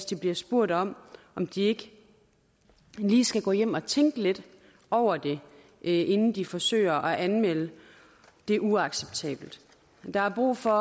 de bliver spurgt om om de ikke lige skal gå hjem og tænke lidt over det inden de forsøger at anmelde det det er uacceptabelt der er brug for